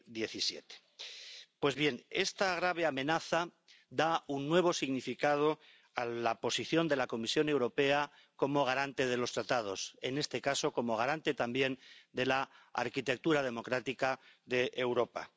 2017. Pues bien, esta grave amenaza da un nuevo significado a la posición de la Comisión Europea como garante de los Tratados, en este caso como garante también de la arquitectura democrática de Europa.